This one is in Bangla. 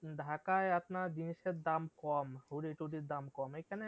ঢাকায় আপনার জিনিসের দাম কম hoodie টুডির দাম কম এখানে